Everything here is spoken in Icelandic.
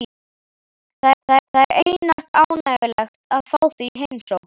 Það er einatt ánægjulegt að fá þig í heimsókn.